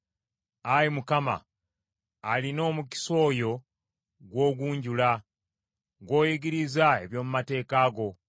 Ayi Mukama , alina omukisa oyo gw’ogunjula, gw’oyigiriza eby’omu mateeka go;